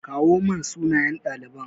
kawo mun sunayen ɗaliban.